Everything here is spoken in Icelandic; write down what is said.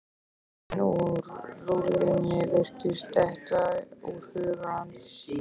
Orðin úr rullunni virtust detta úr huga hans.